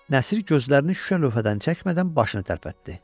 Nəsir gözlərini şüşə lövhədən çəkmədən başını tərpətdi.